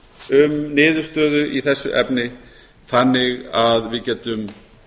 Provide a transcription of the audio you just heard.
um niðurstöðu í þessu efni þannig að við getum